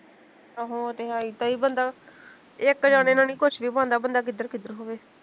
ਆਹੋ ਉਹ ਤੇ ਹੈ ਹੀਂ ਕਈ ਬੰਦਾ ਇੱਕ ਜਣੇ ਨਾਲ਼ ਨੀ ਕੁਸ਼ ਵੀ ਬਣਦਾ ਬੰਦਾ ਕਿੱਧਰ ਕਿੱਧਰ ਹੋਵੇ